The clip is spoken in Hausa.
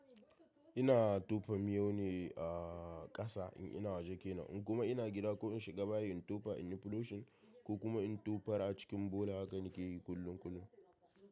Ina tofa miyau ne a ƙasa in ina waje kenan in kuma ina gida ko in shiga bayi in tofa in yi flushing ko kuma in tofa a cikin bola hakan na ke yi kullum kullum.